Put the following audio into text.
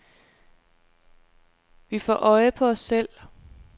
Vi får øje på os selv.